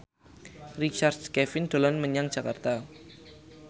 Richard Kevin dolan menyang Jakarta